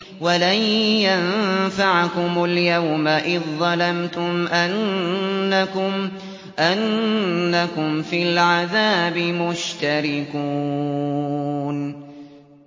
وَلَن يَنفَعَكُمُ الْيَوْمَ إِذ ظَّلَمْتُمْ أَنَّكُمْ فِي الْعَذَابِ مُشْتَرِكُونَ